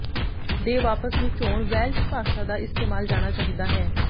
ਦੇ ਵਾਪਸ ਨੂੰ ਚੋਣ ਵੈਲਸ਼ ਭਾਸ਼ਾ ਦਾ ਇਸਤੇਮਾਲ ਜਾਣਾ ਚਾਹੀਦਾ ਹੈ